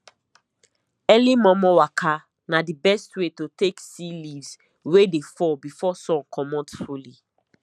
early momo waka na the best way to take see leaves wey dey fall before sun comot fully